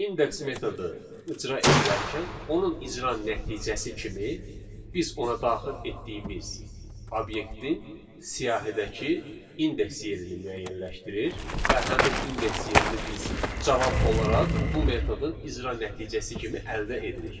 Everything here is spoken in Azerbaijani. Index metodu icra edilərkən onun icra nəticəsi kimi biz ona daxil etdiyimiz obyektin siyahidəki indeks yerini müəyyənləşdirir və həmin indeks yerini biz cavab olaraq bu metodun icra nəticəsi kimi əldə edirik.